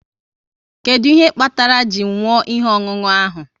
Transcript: Kedụ ihe kpatara ji nwụọ ihe ọṅụṅụ ahụ?